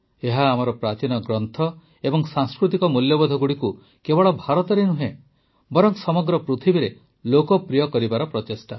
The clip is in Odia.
ଏହା ଆମର ପ୍ରାଚୀନ ଗ୍ରନ୍ଥ ଏବଂ ସାଂସ୍କୃତିକ ମୂଲ୍ୟବୋଧଗୁଡ଼ିକୁ କେବଳ ଭାରତରେ ନୁହେଁ ବରଂ ସମଗ୍ର ପୃଥିବୀରେ ଲୋକପ୍ରିୟ କରିବାର ପ୍ରଚେଷ୍ଟା